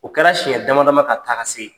O kɛra siɲɛ dama-dama ka taga se.